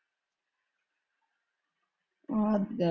ਓਹਾ ਹੱਦ ਏ।